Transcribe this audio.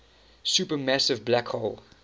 supermassive black hole